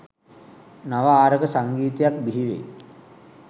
නව ආරක සංගීතයක් බිහිවෙයි